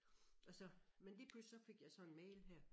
Og så men så lige pludselig så fik jeg så en mail her